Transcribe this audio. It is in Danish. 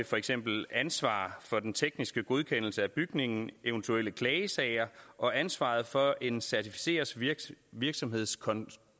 for eksempel ansvar for den tekniske godkendelse af bygningen eventuelle klagesager og ansvaret for en certificeret virksomheds